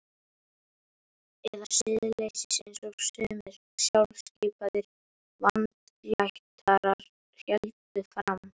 Eða siðleysis einsog sumir sjálfskipaðir vandlætarar héldu fram.